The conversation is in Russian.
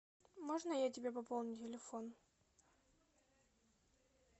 можно я тебе пополню телефон